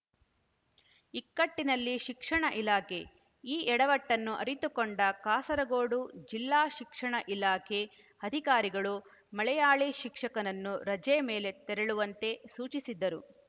ಇಕ್ಕಟ್ಟಿನಲ್ಲಿ ಶಿಕ್ಷಣ ಇಲಾಖೆ ಈ ಎಡವಟ್ಟನ್ನು ಅರಿತುಕೊಂಡ ಕಾಸರಗೋಡು ಜಿಲ್ಲಾ ಶಿಕ್ಷಣ ಇಲಾಖೆ ಅಧಿಕಾರಿಗಳು ಮಲಯಾಳಿ ಶಿಕ್ಷಕನನ್ನು ರಜೆ ಮೇಲೆ ತೆರಳುವಂತೆ ಸೂಚಿಸಿದ್ದರು